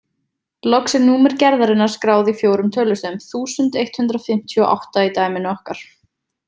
Loks er númer gerðarinnar skráð í fjórum tölustöfum, þúsund eitt hundruð fimmtíu og átta í dæminu okkar.